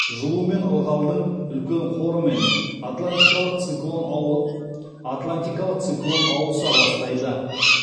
жылу мен ылғалдың үлкен қорымен атлантикалық циклон ауыса бастайды